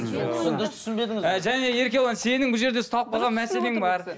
і және еркебұлан сенің бұл жерде ұсталып қалған мәселең бар